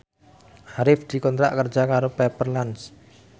Arif dikontrak kerja karo Pepper Lunch